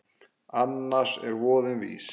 Annars er voðinn vís.